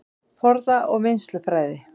Forða- og vinnslufræði